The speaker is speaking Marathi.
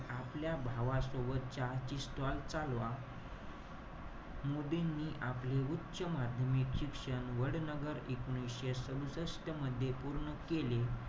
आपल्या भावासोबत चहाची stall चालावा. मोदींनी आपले उच्च माध्यमिक शिक्षण वडनगर एकोणीशे सदुसष्ट मध्ये पूर्ण केले.